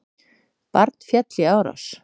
Barn féll í árás